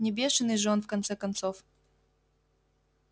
не бешеный же он в конце концов